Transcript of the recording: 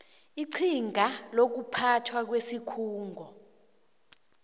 iqhinga lokuphathwa kwesikhungo